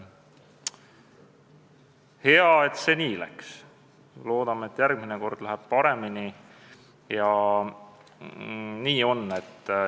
Hea, et see nii läks, loodame, et järgmine kord läheb paremini.